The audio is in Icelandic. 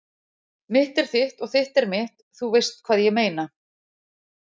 Mitt er þitt og þitt er mitt- þú veist hvað ég meina.